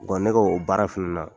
ne ka o baara fana na.